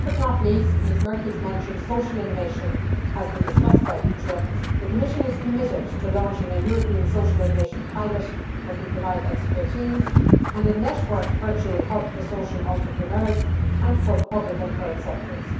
Last but not least, Ms Merkies mentioned social innovation, which has been discussed by ITRE. The Commission is committed to launching a European social innovation pilot that will provide expertise and a networked virtual hub for social entrepreneurs and for the public and third sectors.